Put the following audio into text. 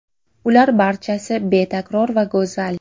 Ular barchasi betakror va go‘zal.